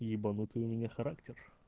ебанутый у меня характер